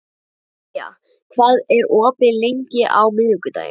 Kaía, hvað er opið lengi á miðvikudaginn?